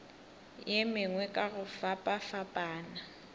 ye mengwe ka go fapafapana